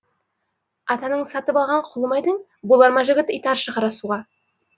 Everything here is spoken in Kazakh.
атаның сатып алған кұлы ма едің болар ма жігіт итаршы қара суға